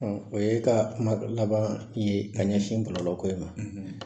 Ɔn o ye ka kuma laban ye ka ɲɛsin kɔlɔlɔ ko in ma